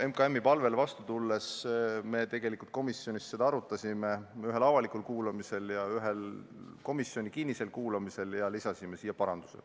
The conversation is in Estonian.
MKM-i palvele vastu tulles arutasime seda teemat komisjonis ühel avalikul kuulamisel ja ühel kinnisel kuulamisel ning lisasime eelnõusse vastavad parandused.